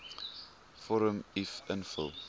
vorm uf invul